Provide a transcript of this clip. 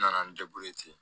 N nana n ten